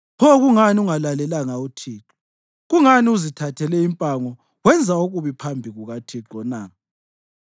Pho kungani ungalalelanga uThixo? Kungani uzithathele impango wenza okubi phambi kukaThixo na?”